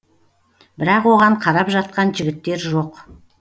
бірақ оған қарап жатқан жігіттер жоқ